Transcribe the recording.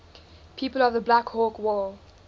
people of the black hawk war